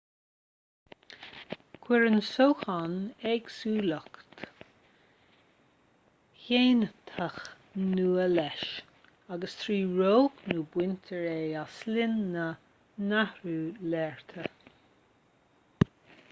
cuireann sóchán éagsúlacht ghéiniteach nua leis agus trí roghnú baintear é as linn na n-athruithe léirithe